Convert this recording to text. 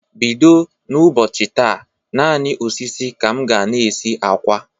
Bido n' ụbọchị taa, naanị osisi ka m ga-na esi akwa.